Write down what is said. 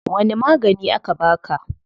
Wani magani aka baka?